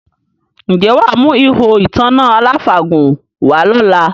Ǹjẹ́ wà á mú “ihò ìtanná aláfàgùn” wá lọ́la?